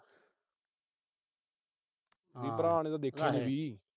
ਵੀ ਭਰਾ ਨੇ ਤਾਂ ਦੇਖੀ ਨੀ